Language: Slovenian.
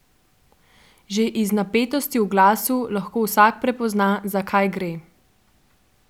Že iz napetosti v glasu lahko vsak prepozna, za kaj gre.